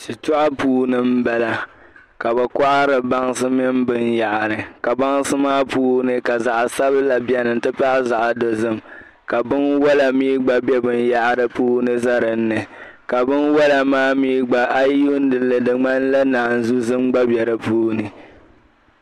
Shitɔɣu puuni m-bala ka bɛ kɔhiri bansi mini binyɛhari ka bansi maa puuni ka zaɣ' sabila beni nti pahi zaɣ' dozim ka binwala mi gba be binyɛhari puuni za dinni ka binwala maa mi gba a yi yi yuuni li di ŋmanila naanzu' zim gba be di puuni.